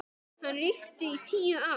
Hann ríkti í tíu ár.